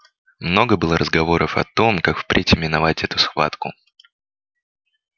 много было разговоров о том как впредь именовать эту схватку